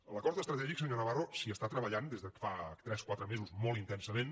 en l’acord estratègic senyor navarro s’hi està treballant des de fa tres quatre mesos molt intensament